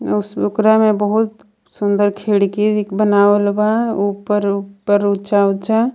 बहुत सुंदर खिड़की भी बनावल बा ऊपर ऊपर ऊंचा ऊंचा.